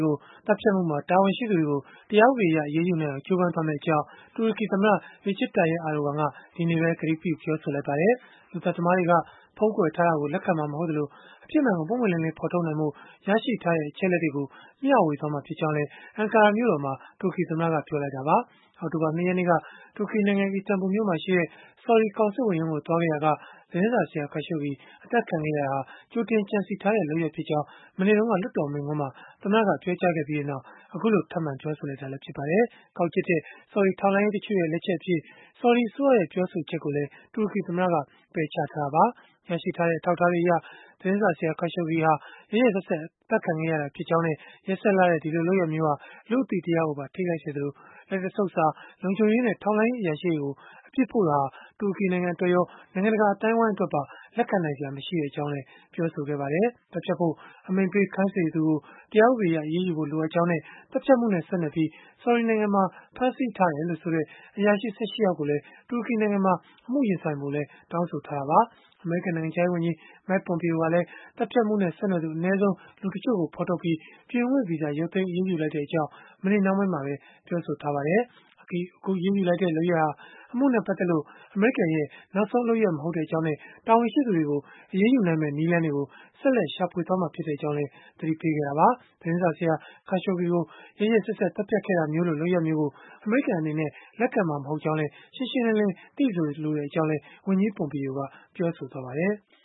ကို သတ်ဖြတ်မှုမှာ တာဝန်ရှိသူတွေကို တရားဥပဒေအရ အရေးယူနိုင်အောင် ကြိုးပမ်းသွားမယ့် အကြောင်း တူရကီသမ္မတ Recep Tayyip Erdogan က ဒီနေ့ပဲ ကတိပေး ပြောဆိုလိုက်ပါတယ်။ လူသတ်သမားတွေက ဖုံးကွယ်တာကို လက်ခံမှာ မဟုတ်သလို၊ အဖြစ်မှန်ကို ပွင့်ပွင့်လင်းလင်း ဖော်ထုတ်နိုင်ဖို့ ရရှိထားတဲ့ အချက်အလက်တွေကို မျှဝေသွားမှာ ဖြစ်ကြောင်းလည်း Ankara မြို့တော်မှာ တူရကီသမ္မတက ပြောဆိုလိုက်တာပါ။ အောက်တိုဘာလ ၂ ရက်နေ့က တူရကီနိုင်ငံ အီစတန်ဘူလ်မြို့မှာရှိတဲ့ ဆော်ဒီကောင်စစ်ဝန်ရုံးကို သွားခဲ့ရာက သတင်းစာဆရာ Khashoggi အသတ်ခံခဲ့ရတာဟာ ကြိုတင်ကြံစည်ထားတဲ့ လုပ်ရပ်ဖြစ်ကြောင်း မနေ့တုန်းက လွှတ်တော်မိန့်ခွန်းမှာ သမ္မတက ပြောကြားခဲ့ပြီးနောက် အခုလို ထပ်မံပြောဆိုလိုက်တာလည်း ဖြစ်ပါတယ်။ ကောက်ကျစ်တဲ့ ဆော်ဒီထောက်လှမ်းရေး တချို့ရဲ့ လက်ချက်အဖြစ် ဆော်ဒီအစိုးရရဲ့ ပြောဆိုချက်ကိုလည်း တူရကီသမ္မတက ပယ်ချထားတာပါ။ ရရှိထားတဲ့ အထောက်အထားတွေအရ သတင်းစာဆရာ Khashoggi ဟာ ရက်ရက်စက်စက် အသတ်ခံခဲ့ရတာဖြစ်ကြောင်းနဲ့ ရက်စက်လှတဲ့ ဒီလိုလုပ်ရပ်မျိုးဟာ လူ့အသိတရားကိုပါ ထိခိုက်စေသလို၊ လက်တဆုပ်စာ လုံခြုံရေးနဲ့ ထောက်လှမ်းရေး အရာရှိတွေကို အပြစ်ဖို့တာဟာ တူရကီနိုင်ငံအတွက်ရော၊ နိုင်ငံတကာ အသိုင်းအဝန်းအတွက်ပါ လက်ခံနိုင်စရာ မရှိကြောင်းလည်း ပြောဆိုခဲ့ပါတယ်။ သတ်ဖြတ်ဖို့ အမိန့်ပေး ခိုင်းစေသူကို တရားဥပဒေအရ အရေးယူဖို့ လိုအပ်ကြောင်းနဲ့ သတ်ဖြတ်မှုနဲ့ ဆက်နွယ်ပြီး ဆော်ဒီနိုင်ငံမှာ ဖမ်းဆီးထားတယ်လို့ဆိုတဲ့ အရာရှိ ၁၈ ယောက်ကိုလည်း တူရကီနိုင်ငံမှာ အမှုရင်ဆိုင်ဖို့လည်း တောင်းဆိုထားတာပါ။ အမေရိကန် နိုင်ငံခြားရေးဝန်ကြီး Mike Pompeo ကလည်း သတ်ဖြတ်မှုနဲ့ ဆက်နွယ်သူ အနည်းဆုံး လူတချို့ကို ဖော်ထုတ်ပြီး၊ ပြည်ဝင်ခွင့်ဗီဇာ ရုပ်သိမ်းအရေးယူလိုက်တဲ့အကြောင်း မနေ့နှောင်းပိုင်းမှာပဲ ပြောဆိုခဲ့ပါတယ်။ အခုအရေးယူတဲ့ လုပ်ရပ်ဟာ အမှုနဲ့ပတ်သက်လို့ အမေရိကန်ရဲ့ နောက်ဆုံးလုပ်ရပ် မဟုတ်ကြောင်းနဲ့ တာဝန်ရှိသူတွေကို အရေးယူနိုင်မယ့် နည်းလမ်းတွေကို ဆက်လက်ရှာဖွေသွားမှာ ဖြစ်ကြောင်းလည်း သတိပေးခဲ့တာပါ။ သတင်းစာဆရာ Khashoggi ကို ရက်ရက်စက်စက် သတ်ဖြတ်ခဲ့တာမျိုးလို လုပ်ရပ်မျိုးကို အမေရိကန်အနေနဲ့ လက်ခံမှာမဟုတ်ကြောင်း ရှင်းရှင်းလင်းလင်း သိစေလိုကြောင်းလည်း ဝန်ကြီး Pompeo ကပြောဆိုခဲ့ပါတယ်။